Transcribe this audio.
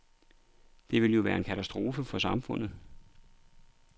Det ville jo være en katastrofe for samfundet.